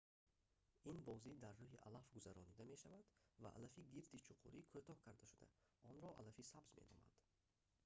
ин бозӣ дар рӯи алаф гузаронида мешавад ва алафи гирди чуқурӣ кӯтоҳ карда шуда онро алафи сабз меноманд